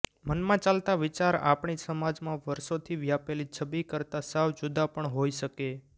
મનમાં ચાલતા વિચાર આપણી સમાજમાં વર્ષોથી વ્યાપેલી છબિ કરતાં સાવ જુદા પણ હોઈ શકે